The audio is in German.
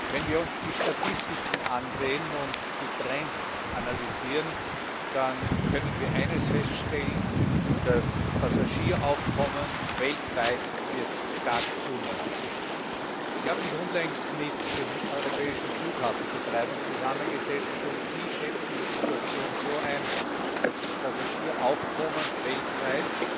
Wenn wir uns die Statistiken ansehen und die Trends analysieren, dann können wir eines feststellen Das Passagieraufkommen weltweit wird stark zunehmen. Ich habe mich unlängst mit den europäischen Flughafenbetreibern zusammengesetzt, und sie schätzen die Situation so ein, dass das Passagieraufkommen weltweit